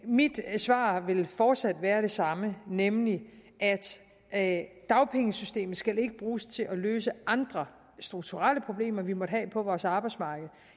mit svar vil fortsat være det samme nemlig at dagpengesystemet skal ikke bruges til at løse andre strukturelle problemer vi måtte have på vores arbejdsmarked